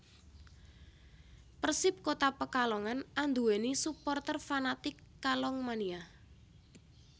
Persip Kota Pekalongan andhuweni suporter fanatik Kalong Mania